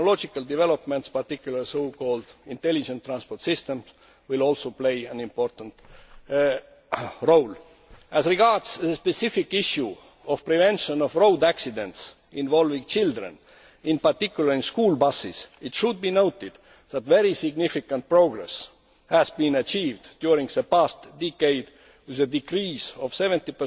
Technological developments, in particular, so called intelligent transport systems, will also play an important role. As regards the specific issue of the prevention of road accidents involving children, in particular in school buses, it should be noted that very significant progress has been achieved during the past decade with a decrease of 70